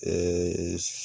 ƐƐƐƐ